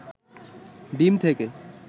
ডিম থেকে